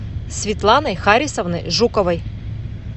светланой харисовной жуковой